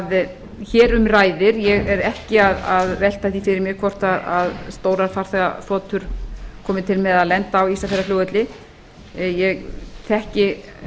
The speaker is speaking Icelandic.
sem hér um ræðir ég er ekki að velta því fyrir mér hvort stórar farþegaþotur komi til með að lenda á ísafjarðarflugvelli ég þekki